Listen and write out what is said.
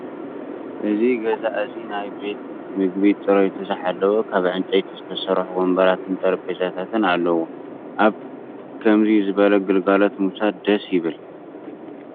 እዚ ገዛ እዚ ናይ ቤት ምግቢ ፅሬቱ ዝሓለወ ካብ ዕንፀይቲ ዝተሰርሑ ወንበራትን ጠረጰዛታትን ኣለውዎ። አብ ከምዙይ ዝበለ ግልጋሎት ምውሳድ ደስ ይብል።